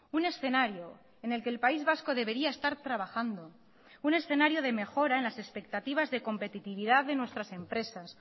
un escenario en el que el país vasco debería estar trabajando un escenario de mejora en las expectativas de competitividad de nuestras empresas